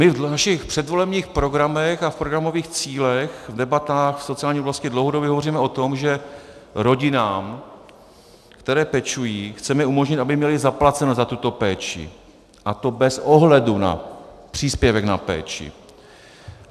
My v našich předvolebních programech a v programových cílech a debatách k sociální oblasti dlouhodobě hovoříme o tom, že rodinám, které pečují, chceme umožnit, aby měly zaplaceno za tuto péči, a to bez ohledu na příspěvek na péči.